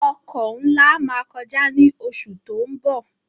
Ọkọ̀ nlá má kọjá ní oṣù tó ń bọ̀